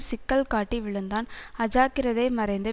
சிக்கல் காட்டி விழுந்தான் அஜாக்கிரதை மறைந்து